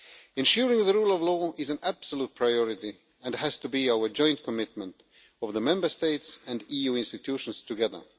Ensuring the rule of law is an absolute priority and has to be our joint commitment, of the Member States and EU institutions together.